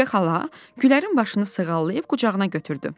Şəfiqə xala Gülərin başını sığallayıb qucağına götürdü.